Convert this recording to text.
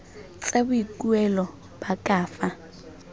tsa boikuelo ba ka fa